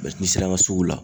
Mɛ n'i sera an ka sugu la